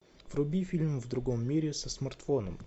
вруби фильм в другом мире со смартфоном